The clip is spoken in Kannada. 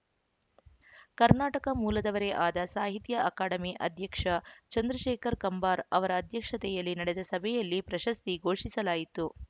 ಕರ್ನಾಟಕ ಮೂಲದವರೇ ಆದ ಸಾಹಿತ್ಯ ಅಕಾಡೆಮಿ ಅಧ್ಯಕ್ಷ ಚಂದ್ರಶೇಖರ ಕಂಬಾರ ಅವರ ಅಧ್ಯಕ್ಷತೆಯಲ್ಲಿ ನಡೆದ ಸಭೆಯಲ್ಲಿ ಪ್ರಶಸ್ತಿ ಘೋಷಿಸಲಾಯಿತು